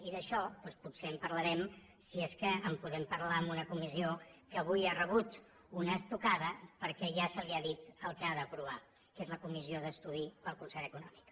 i d’això doncs potser en parlarem si és que en podem parlar en una comissió que avui ha rebut una estocada perquè ja se li ha dit el que ha d’aprovar que és la comissió d’estudi per al concert econòmic